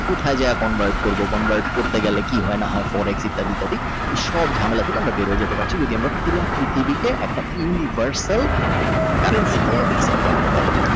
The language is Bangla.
কোথায় যায় convert করব convert করতে গেলে কি হয় না হয় পরে ইত্যাদি ইত্যাদি এসব ঝামেলা থেকে আমরা বেরিয়ে যেতে পারছি যদি আমরা পুরা পৃথিবী কে University currency কে accept করাইতে পার।